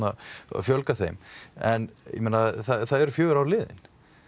fjölga þeim en það eru fjögur ár liðin